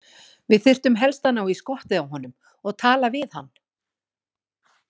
Við þyrftum helst að ná í skottið á honum og tala við hann.